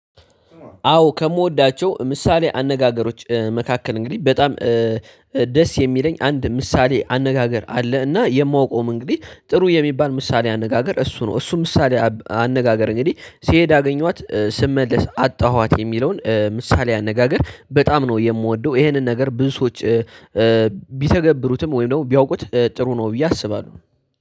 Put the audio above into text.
አዎ ከምወዳቸው ምሳሌ አነጋገሮች መካከል እንግዲህ በጣም ደስ የሚለኝ አንድ ምሳሌ አነጋገር አለ። እና የማውቀውም እንግዲህ ጥሩ የሚባል ምሳሌ አነጋገር እሱ ነው። እሱ ምሳሌ አነጋገር እንግዲህ ሲሄድ አገኘኋት ስመለስ አጣኋት የሚለውን ምሳሌ አነጋገር በጣም ነው የምወደው ይሄንን ነገር ብዙ ሰዎች ቢተገብሩትም ወይም ደግሞ ቢያውቁት ጥሩ ነው ብዬ አስባለሁ።